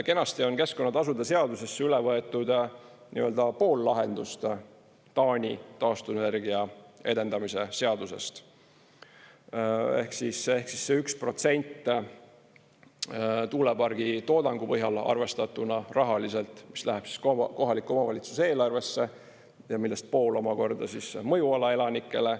Kenasti on keskkonnatasude seadusesse üle võetud pool lahendust Taani taastuvenergia edendamise seadusest ehk siis see 1% tuulepargi toodangu põhjal arvestatuna rahaliselt, mis läheb kohaliku omavalitsuse eelarvesse ja millest pool omakorda mõjuala elanikele.